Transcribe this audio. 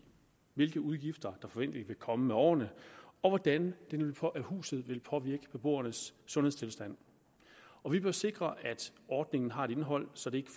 hvilke udgifter der forventeligt vil komme med årene og hvordan huset vil påvirke beboernes sundhedstilstand vi bør sikre at ordningen har et indhold som ikke